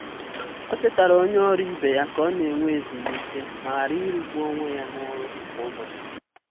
O chetara onye ọrụ ibe ya ka ọ na- enwe ezumike ma ghara ịrụ gbu onwe ya na ọrụ kwa ụbọchị.